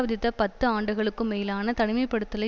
விதித்த பத்து ஆண்டுகளுக்கு மேலான தனிமைப்படுத்தலை